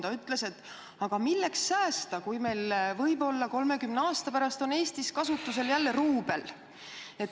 Ta ütles, et milleks säästa, kui meil võib-olla 30 aasta pärast on Eestis kasutusel jälle ruubel.